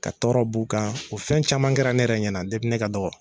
Ka tɔɔrɔ b'u kan o fɛn caman kɛra ne yɛrɛ ɲɛna ne ka dɔgɔ.